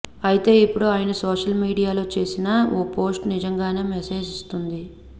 అయితే ఇప్పుడు ఆయన సోషల్ మీడియాలో చేసిన ఓ పోస్ట్ నిజంగానే మెసేజ్ ఇస్తోంది